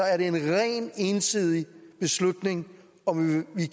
er det en rent ensidig beslutning om vi